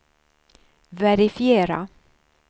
verifiera